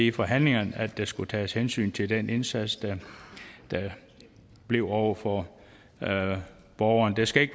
i forhandlingerne at der skulle tages hensyn til den indsats der bliver over for borgerne det skal